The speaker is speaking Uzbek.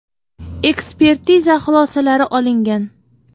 Ekspertiza xulosalari olingan.